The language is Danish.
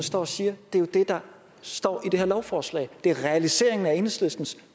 står og siger er jo det der står i det her lovforslag det er realiseringen af enhedslistens